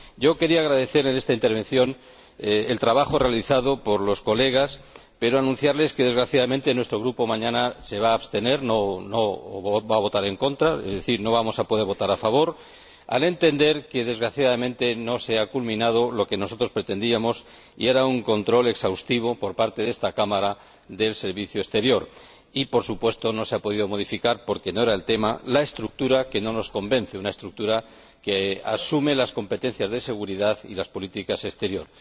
Quería agradecer en esta intervención el trabajo realizado por los colegas, pero anunciarles que, desgraciadamente, nuestro Grupo mañana se va a abstener, no va a votar en contra, pero no vamos a poder votar a favor, al entender que, desgraciadamente, no se ha culminado lo que nosotros pretendíamos, un control exhaustivo por parte de esta Cámara del Servicio Exterior, y, por supuesto, no se ha podido modificar, porque no era el tema, la estructura, que no nos convence, una estructura que asume las competencias de seguridad y la política exterior.